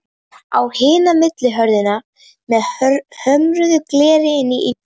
Á hina millihurð með hömruðu gleri inn í íbúðina.